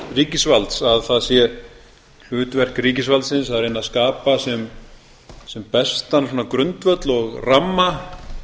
ríkisvalds að það sé hlutverk ríkisvaldsins að reyna að skapa sem bestan grundvöll og ramma